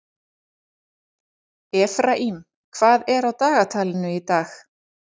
Efraím, hvað er á dagatalinu í dag?